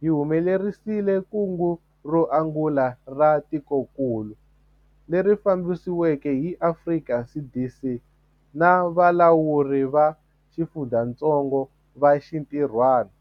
hi humelerisile kungu ro angula ra tikokulu, leri fambisiweke hi Afrika CDC na valawuri va xifundzatsongo va xinti rhwana.